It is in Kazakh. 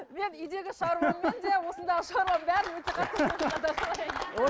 мен үйдегі шаруамен де осындағы шаруамның бәрін өте қатты